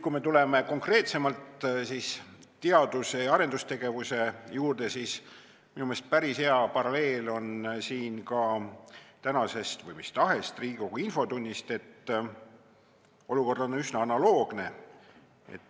Kui tulla konkreetsemalt teadus- ja arendustegevuse juurde, siis minu meelest saab päris hea paralleeli tõmmata kas tänase või mis tahes Riigikogu infotunniga, kus olukord on üsna analoogne.